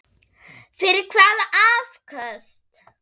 Fyrir hvaða afköst?